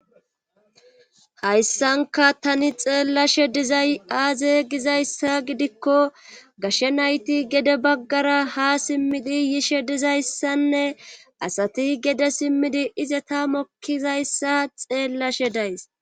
hayssanka tani xeellashe dizay aaze gizayssa gidikko gashshe nayti gede baggara ha simmidi yishe dizayssanne asati gede simmidi ize ta mokkizayssa xeellashe days